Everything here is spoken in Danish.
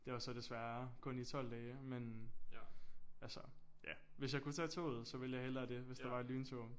Det var så desværre kun i 12 dage men altså ja hvis jeg kunne tage toget så ville jeg hellere det hvis der var et lyntog